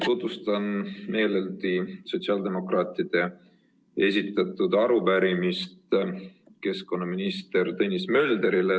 Tutvustan meeleldi sotsiaaldemokraatide esitatud arupärimist keskkonnaminister Tõnis Möldrile.